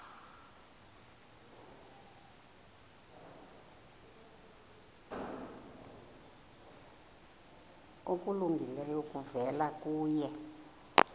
okulungileyo kuvela kuye